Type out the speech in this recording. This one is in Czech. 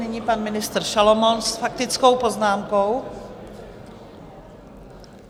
Nyní pan ministr Šalomoun s faktickou poznámkou.